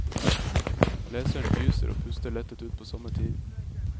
Leseren gyser og puster lettet ut på samme tid.